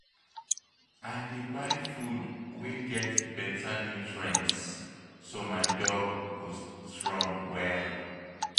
I dey buy food wey get better nutrients so my dog go strong well.